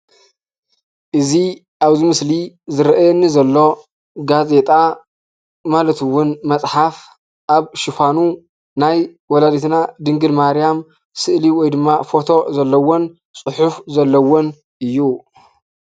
እዚ ኣብዚ ምስሊ ዝርኣየኒ ዘሎ ጋዜጣ፣ ማለት እዉን መፅሓፍ፣ ኣብ ሽፋኑ ናይ ወላዲትና ድንግል ማርያም ስእሊ ወይ ድማ ፎቶ ዘለዎን ፅሑፍ ዘለዎን እዩ።